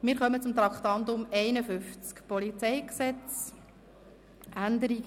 Wir kommen zum Traktandum 51, zur Änderung des Polizeigesetzes (PolG).